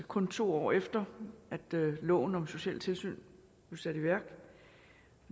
kun to år efter loven om sociale tilsyn blev sat i værk